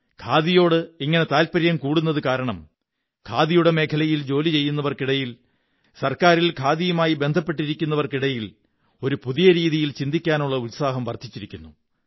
ഖാദിയോട് ഇങ്ങനെ താത്പര്യം കൂടുന്നതു കാരണം ഖാദി മേഖലയിൽ ജോലി ചെയ്യുന്നവര്ക്കി ടയിൽ ഗവണ്മെപന്റിൽ ഖാദിയുമായി ബന്ധപ്പെട്ടിരിക്കുന്നവര്ക്കി ടയിൽ ഒരു പുതിയ രീതിയിൽ ചിന്തിക്കാനുള്ള ഉത്സാഹം വര്ധിനച്ചിരിക്കുന്നു